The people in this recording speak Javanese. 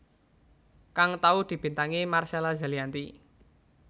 kang tau dibintangi Marcella Zalianty